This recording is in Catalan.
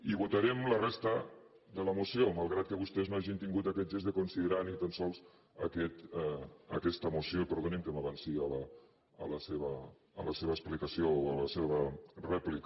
i votarem la resta de la moció malgrat que vostès no hagin tingut aquest gest de considerar ni tan sols aquesta moció i perdonin que m’avanci a la seva explicació o a la seva rèplica